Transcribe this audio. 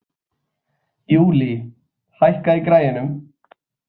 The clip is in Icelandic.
Júlí, hækkaðu í græjunum.